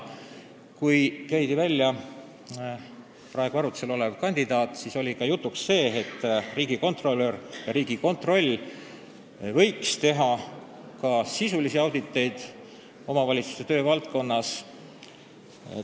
Kui käidi välja praegu arutuse all olev kandidaat, siis oli jutuks see, et riigikontrolör ja Riigikontroll võiks teha sisulisi auditeid omavalitsuste töövaldkonnas.